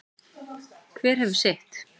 Hver hefur sitt.